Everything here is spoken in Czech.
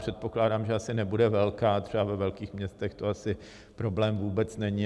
Předpokládám, že asi nebude velká, třeba ve velkých městech to asi problém vůbec není.